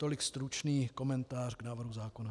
Tolik stručný komentář k návrhu zákona.